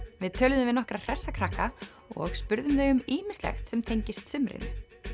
við töluðum við nokkra hressa krakka og spurðum þau um ýmislegt sem tengist sumrinu